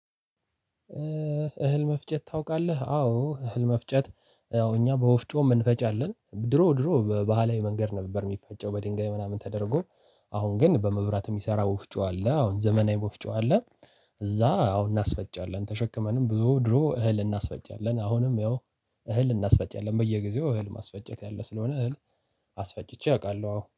እህል መፍጨት ታውቃለህ አዎ እህል መፍጨት አዎ እኛ በወፍጮ አንፈጫለን አለን ድሮ ድሮ በባህላዊ መንገድ ነበር የሚፈጨው በድንጋይ ምናምን ተደርጎ። አሁን ግን በመብራት የሚሰራ ወፍጮ አለ። አሁን ዘመናዊ ወፍጮ አለ። እዛ አሁን እናስፈጫለን ተሸክመንም ብዙ ድሮ እህል እናስፈጫለን አሁንም ያው እህል እናስፈጫለን። በየጊዜው እህል ማስፈጨት ያለ ስለሆነ እህል አስፈጭቼ አውቃለሁ አዎ